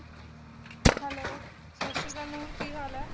hello ਸਤਿ ਸ਼੍ਰੀ ਅਕਾਲ ਨੂਰ ਕੀ ਹਾਲ ਐ